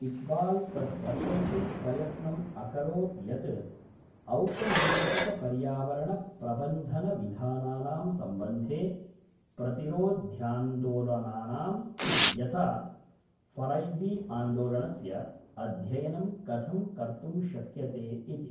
इक्बाल् तत् दर्शयितुं प्रयत्नम् अकरोत् यत् औपनिवेशिकपर्यावरणप्रबन्धनविधानानां सम्बन्धे प्रतिरोध्यान्दोलनानां, यथा फ़रैज़ीआन्दोलनस्य, अध्ययनं कथं कर्तुं शक्यते इति।